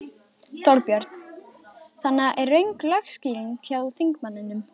Þorbjörn: Þannig að er röng lögskýring hjá þingmanninum?